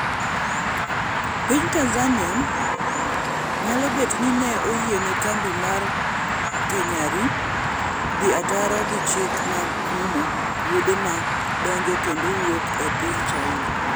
Piny Tanzania nyalo bet ni ne oyiene kambi mar Kenyari dhi ataro gi chik ma kumo wuodhe ma donjo kendo wuok e piny China